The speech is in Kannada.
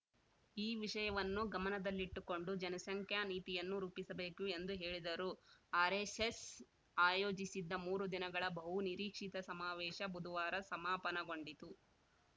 ಈ ವಿಷಯವನ್ನು ಗಮನದಲ್ಲಿಟ್ಟುಕೊಂಡು ಜನಸಂಖ್ಯಾ ನೀತಿಯನ್ನು ರೂಪಿಸಬೇಕು ಎಂದು ಹೇಳಿದರು ಆರೆಸ್ಸೆಶ್ ಆಯೋಜಿಸಿದ್ದ ಮೂರು ದಿನಗಳ ಬಹುನಿರೀಕ್ಷಿತ ಸಮಾವೇಶ ಬುಧವಾರ ಸಮಾಪನಗೊಂಡಿತು